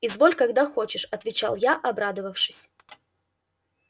изволь когда хочешь отвечал я обрадовавшись